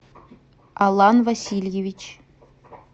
алан васильевич